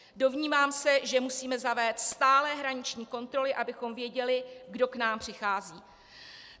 Domnívám se, že musíme zavést stálé hraniční kontroly, abychom věděli, kdo k nám přichází.